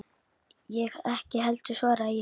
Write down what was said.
Ég ekki heldur, svaraði ég.